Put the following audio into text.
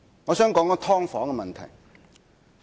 我想談一下"劏房"的問題。